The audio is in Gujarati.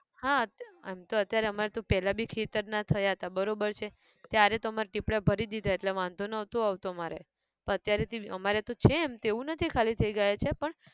હા અત્યા આમ તો અત્યારે અમા ર તો પહેલા બી ખેતર ના થયા તા બરોબર છે, ત્યારે તો અમાર પીપળા ભરી દીધા એટલે વાંધો નતો આવતો અમારે પણ અત્યારે તો અમારે તો છે એમ તો એવું નથી ખાલી થઇ ગયા છે પણ